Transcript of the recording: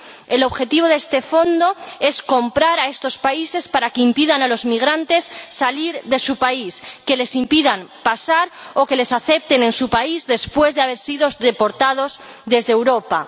El objetivo de este fondo es comprar a estos países para que impidan a los migrantes salir de su país, les impidan pasar o les acepten en su país después de haber sido deportados desde Europa.